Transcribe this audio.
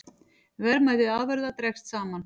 Verðmæti afurða dregst saman